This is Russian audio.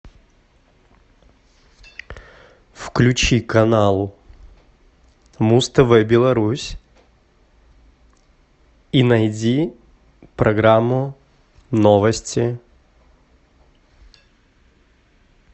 включи канал муз тв беларусь и найди программу новости